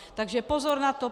Takže pozor na to.